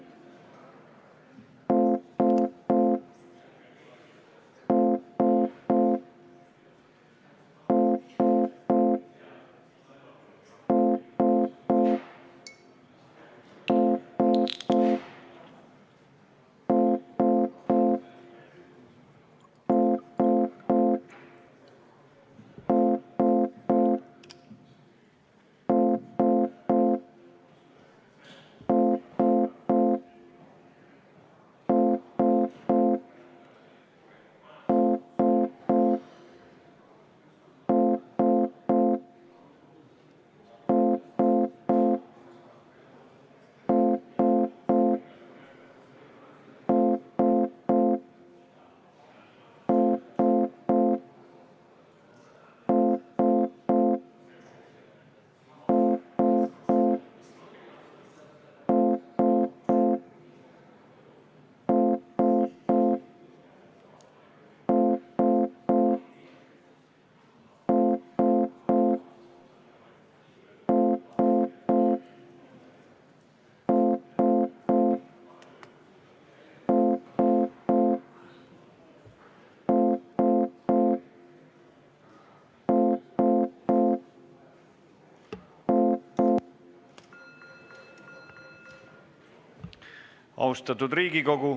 Austatud Riigikogu!